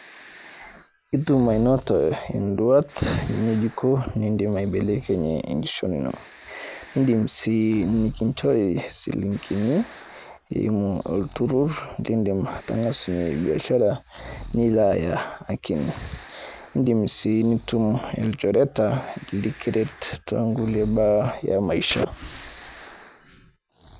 Itum ainoto induat ng'ejuko nidim aibelekenye enkishon ino. Indim sii nikincho isilingini eimu olturur nindim atang'asunye biashara nilaaya akini. Indim sii ainoto ilchoreta lekiret tonkulie baa e maisha